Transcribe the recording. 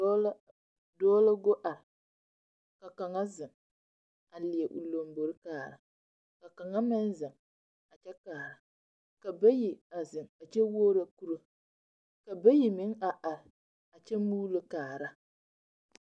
Dɔɔ la dɔɔ la go ar ka kaŋa zeŋ a leɛ o lambori kaara. Ka kaŋa meŋ zeŋ a kyɛ kaara. Ka bayi a zeŋ a kyɛ wuoro kuro. Ka bayi meŋ a ar a kyɛ muulo kaara.